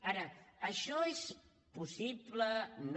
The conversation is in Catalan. ara això és possible no